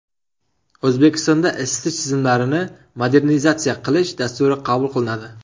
O‘zbekistonda isitish tizimlarini modernizatsiya qilish dasturi qabul qilinadi.